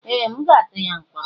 Ee! M ga-atụ ya mkpọrọ.